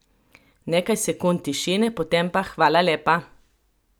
Nekaj sekund tišine, potem pa: 'Hvala lepa!